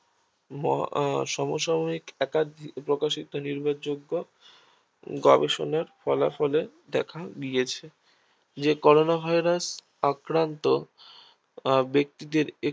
মর আহ সম সাময়িক একাধিক প্রকাশিত নির্ভরযোগ্য গবেষণা ফলাফলে দেখা গিয়েছে যে করোনা Virus আক্রান্ত ব্যক্তিদের